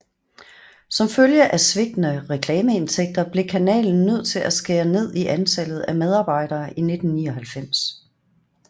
Som følge af svigtende reklameindtægter blev kanalen nødt til at skære ned i antallet af medarbejdere i 1999